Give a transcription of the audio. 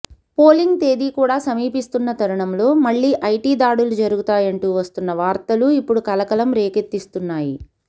polling తేదీ కూడా సమీపిస్తున్న తరుణంలో మళ్లీ ఐటీ దాడులు జరుగుతాయంటూ వస్తున్న వార్తలు ఇప్పుడు కలకలం రేకెత్తిస్తున్నాయి